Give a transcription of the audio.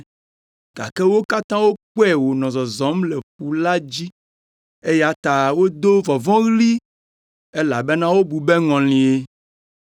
gake wo katã wokpɔe wònɔ zɔzɔm le ƒu la dzi, eya ta wodo vɔvɔ̃ɣli, elabena wobu be ŋɔlie.